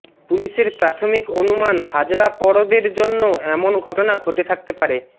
পুলিশের প্রাথমিক অনুমান হাজরা পরবের জন্য এমন ঘটনা ঘটে থাকতে পারে